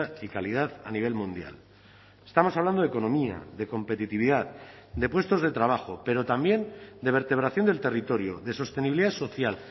y calidad a nivel mundial estamos hablando de economía de competitividad de puestos de trabajo pero también de vertebración del territorio de sostenibilidad social